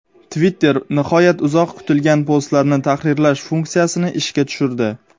Twitter nihoyat uzoq kutilgan postlarni tahrirlash funksiyasini ishga tushirdi.